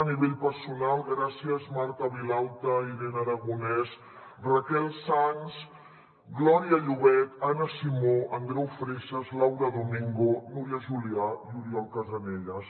a nivell personal gràcies marta vilalta irene aragonès raquel sans glòria llobet anna simó andreu freixes laura domingo núria julià i oriol casanellas